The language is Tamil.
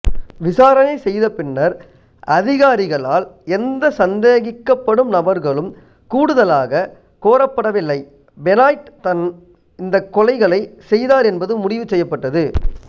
விசாரணை செய்தபின்னர் அதிகாரிகளால் எந்த சந்தேகிக்கப்படும் நபர்களும் கூடுதலாக கோரப்படவில்லை பெனாய்ட் தான் இந்தக் கொலைகளைச் செய்தார் என்பது முடிவுசெய்யப்பட்டது